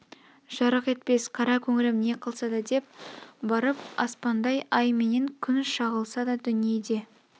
жарық етпес қара көңілім не қылса да деп барып аспандай ай менен күн шағылса да дүниеде